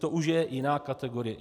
To už je jiná kategorie.